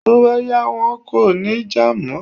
Tó bá yá, wọn kò ní jà mọ́.